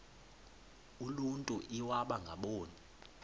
uluntu iwaba ngaboni